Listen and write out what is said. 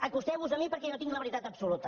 acosteu vos a mi perquè jo tinc la veritat absoluta